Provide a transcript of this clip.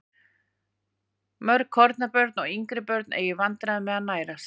Mörg kornabörn og yngri börn eiga í vandræðum með að nærast.